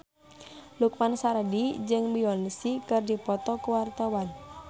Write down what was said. Lukman Sardi jeung Beyonce keur dipoto ku wartawan